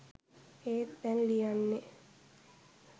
ඒත් දැන් ලියන්නේ